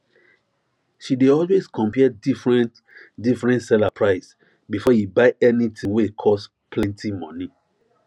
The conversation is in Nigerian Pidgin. she dey always compare differentdifferent seller price before e buy any thing wey cost plenty money